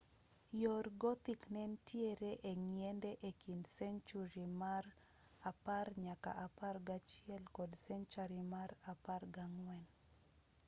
yor gothic nentiere eng'iende ekind senchuri mar 10-11 kod senchari mar 14